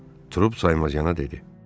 Trup saymazcana dedi.